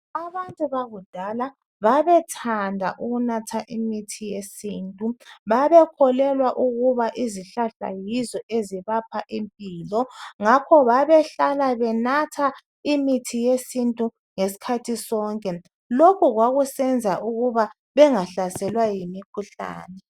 Abantu bakudala babethanda ukunatha imithi yesintu. Babekholelwa ukuba izihlahla yizo ezibapha impilo. Ngakho babehlala benatha imithi yesintu ngesikhathi sonke. Lokhu kwakusenza bengahlaselwa yimikhuhlane.